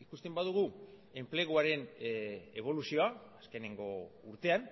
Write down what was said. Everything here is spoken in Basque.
ikusten badugu enpleguaren eboluzioa azkeneko urtean